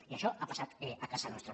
i això ha passat a casa nostra